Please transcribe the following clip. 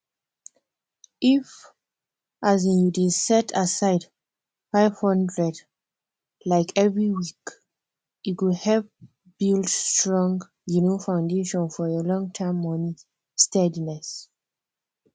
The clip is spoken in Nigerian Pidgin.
if um you dey set aside five hundred um every week e go help build strong um foundation for your longterm money steadiness